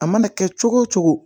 A mana kɛ cogo o cogo